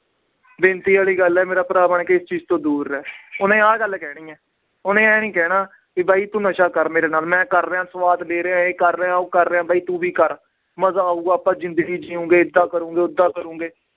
ਬੇਨਤੀ ਵਾਲੀ ਗੱਲ ਹੈ ਮੇਰਾ ਭਰਾ ਬਣਕੇ ਇਸ ਚੀਜ਼ ਤੋਂ ਦੂਰ ਰਹਿ ਉਹਨੇ ਆਹ ਗੱਲ ਕਹਿਣੀ ਹੈ, ਉਹਨੇ ਇਹ ਨੀ ਕਹਿਣਾ ਕਿ ਬਾਈ ਤੂੰ ਨਸ਼ਾ ਕਰ ਮੇਰੇ ਨਾਲ, ਮੈਂ ਕਰ ਰਿਹਾਂ ਸਵਾਦ ਲੈ ਰਿਹਾਂ ਇਹ ਕਰ ਰਿਹਾਂ ਉਹ ਕਰ ਰਿਹਾਂ ਬਾਈ ਤੂੰ ਵੀ ਕਰ, ਮਜ਼ਾ ਆਊਗਾ ਆਪਾਂ ਜ਼ਿੰਦਗੀ ਜਿਊਂਗੇ ਏਦਾਂ ਕਰਾਂਗੇ ਓਦਾਂ ਕਰਾਂਗੇ।